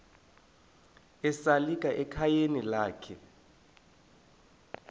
esalika ekhayeni lakhe